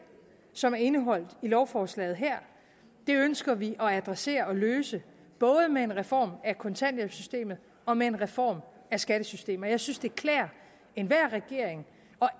som er indeholdt i lovforslaget her det ønsker vi at adressere og løse både med en reform af kontanthjælpssystemet og med en reform af skattesystemet jeg synes det klæder enhver regering